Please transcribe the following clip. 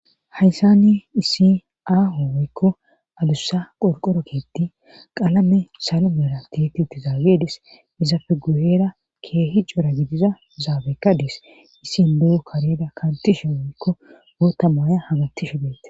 hayssani issi aahooykko alussa qolqoro keetti qalame salu meera titi utti zaagedis iza feguyera keehi cora gidiza zaabekka dees issin duo kareda kantishe owoykko goota maaya hagattishu beete